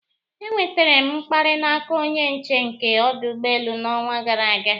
E nwetara m mkparị n'aka onye nche nke ọdụ ụgbọelu n'ọnwa gara aga